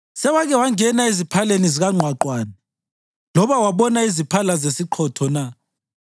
Sewake wangena eziphaleni zikangqwaqwane loba wabona iziphala zesiqhotho na,